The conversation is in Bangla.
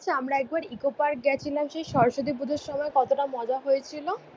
আমরা একবার ইকো পার্ক গেছিলাম সেই সরস্বতী পুজোর সময়, কতটা মজা হয়েছিল।